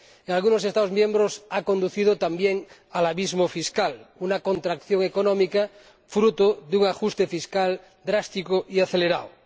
Y a algunos Estados miembros los ha conducido también al abismo fiscal, una contracción económica fruto de un ajuste fiscal drástico y acelerado.